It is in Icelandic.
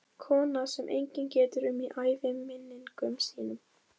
Kona sem enginn getur um í æviminningum sínum.